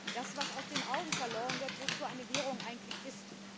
Das, was aus den Augen verloren wird, ist, wozu eine Währung eigentlich da ist.